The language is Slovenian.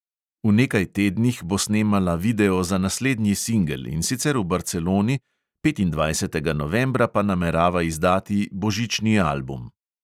V nekaj tednih bo snemala video za naslednji singel, in sicer v barceloni, petindvajsetega novembra pa namerava izdati božični album.